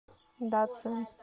дацин